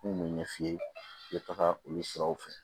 N kun bɛ ɲɛ f'i ye i bɛ taga olu siraw fɛ